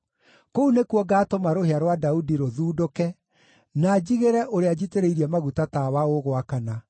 “Kũu nĩkuo ngaatũma rũhĩa rwa Daudi rũthundũke na njigĩre ũrĩa njitĩrĩirie maguta tawa ũgwakana.